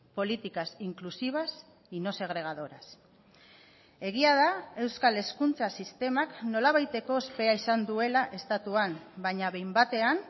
políticas inclusivas y no segregadoras egia da euskal hezkuntza sistemak nolabaiteko ospea izan duela estatuan baina behin batean